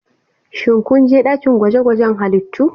Shin kun je dakin gwaje-gwajen halittu?